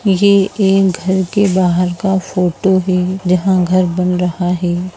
ये एक घर के बाहर का फोटो है जहां घर बन रहा है।